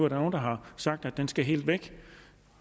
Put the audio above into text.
at nogle har sagt at den skal helt væk